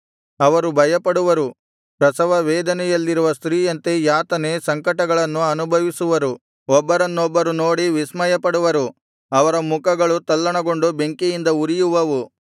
ಅವರು ಭಯಪಡುವರು ಪ್ರಸವ ವೇದನೆಯಲ್ಲಿರುವ ಸ್ತ್ರೀಯಂತೆ ಯಾತನೆ ಸಂಕಟಗಳನ್ನು ಅನುಭವಿಸುವರು ಒಬ್ಬರನ್ನೊಬ್ಬರು ನೋಡಿ ವಿಸ್ಮಯಪಡುವರು ಅವರ ಮುಖಗಳು ತಲ್ಲಣಗೊಂಡು ಬೆಂಕಿಯಿಂದ ಉರಿಯುವವು